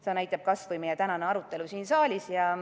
Seda näitab kas või meie tänane arutelu siin saalis.